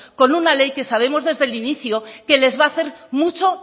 con una ley que sabemos desde el inicio que les va a hacer mucho